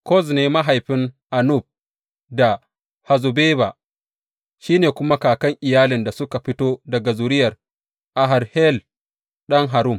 Koz ne mahaifin Anub da Hazzobeba, shi ne kuma kakan iyalin da suka fito daga zuriyar Aharhel ɗan Harum.